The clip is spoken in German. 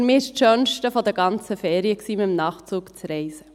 Aber für mich war es das Schönste der ganzen Ferien, mit dem Nachtzug zu reisen.